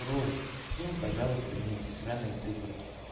просто скинь пожалуйста мне эти сраные циферки